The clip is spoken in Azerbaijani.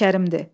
Allah Kərimdir.